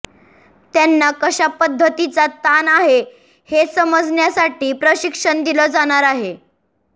त्यांना कशापद्धतीचा ताण आहे हे समजण्यासाठी प्रशिक्षण दिलं जाणार आहे